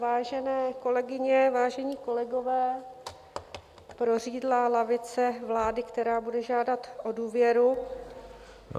Vážené kolegyně, vážení kolegové, prořídlá lavice vlády, která bude žádat o důvěru...